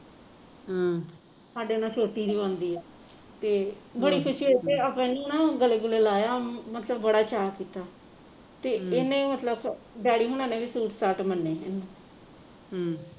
ਸਾਡੇ ਨਾਲ ਛੋਟੀ ਦੀ ਬਣਦੀ ਆ ਤੇ ਬੜੀ ਖੁਸ਼ੀ ਹੋਈ ਤੇ ਆਪਾਂ ਇਹਨੂੰ ਨਾ ਗਲੇ ਗੁਲੇ ਲਾਇਆ ਅਮ ਮਤਲਬ ਬੜਾ ਚਾਅ ਕੀਤਾ ਤੇ ਇਹਨੇ ਮਤਲਬ ਡੈਡੀ ਹੁਣਾ ਨੇ ਵੀ ਸੁਟ ਸਾਟ ਮੰਨੇ ਇਹਨੂੰ